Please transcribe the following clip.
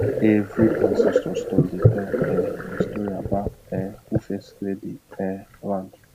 every ancestor stone dey tell um a story about um who first clear the um land